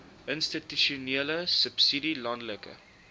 institusionele subsidie landelike